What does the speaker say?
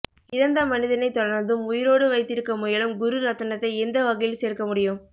இறந்த மனிதனை தொடர்ந்தும் உயிரோடு வைத்திருக்க முயலும் குருரத்தனத்தை எந்த வகையில் சேர்க்க முடியும்